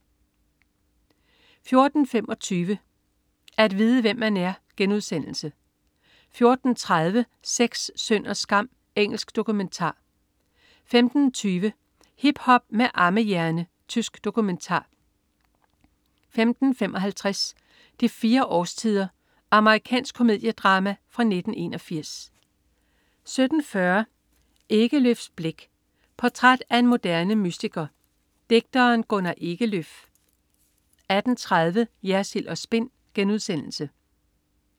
14.25 At vide hvem man er* 14.30 Sex, synd og skam. Engelsk dokumentar 15.20 Hiphop med ammehjerne. Tysk dokumentar 15.55 De fire årstider. Amerikansk komediedrama fra 1981 17.40 Ekelöfs blik. Portræt af en moderne mystiker, digteren Gunnar Ekelöf 18.30 Jersild & Spin*